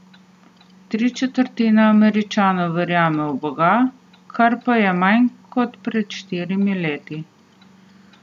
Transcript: Tri četrtine Američanov verjame v boga, kar pa je manj kot pred štirimi leti.